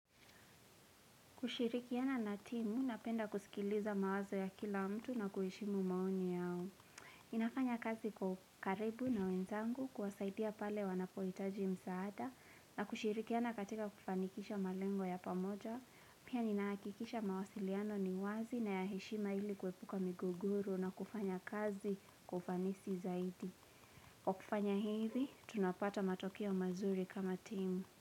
Kushirikiana na timu, napenda kusikiliza mawazo ya kila mtu na kuheshimu maoni yao. Ninafanya kazi kwa ukaribu na wenzangu kuwasaidia pale wanapohitaji msaada na kushirikiana katika kufanikisha malengo ya pamoja. Pia nina hakikisha mawasiliano ni wazi na ya heshima ili kuhepuka migogoru na kufanya kazi kwa ufanisi zaidi. Kwa kufanya hivi, tunapata matokeo mazuri kama timu.